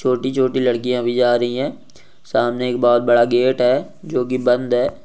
छोटी छोटी लड़किया भी जा रह है सामने एक बहुत बड़ा गेट है जो की बंद है।